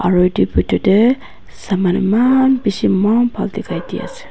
aru etu bithor teh saman eman bishi eman bhal dikhai di ase.